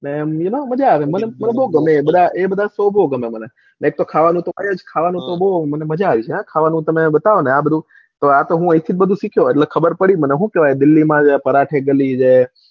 મજા આવે મને બૌ ગમે બધું એ બધા શોખ બૌ ગમે મને એક તો ખાવાનું તો મને મજા આવી જાય આ બધું બતાવો ને આ બધું અહીં થી જ બધું શીખ્યો છું દિલ્હીમાં છે ને પરાઠા ગલી છે.